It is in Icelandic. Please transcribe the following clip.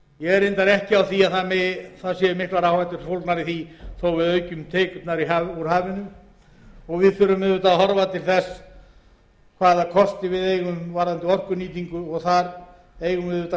er reyndar ekki á því að mikil áhætta sé fólgin í því þó að við aukum tekjurnar úr hafinu og við þurfum að horfa til þess hvaða kosti við eigum varðandi orkunýtingu og þar eigum við auðvitað